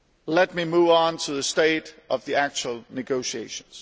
Let me move on to the state of the actual negotiations.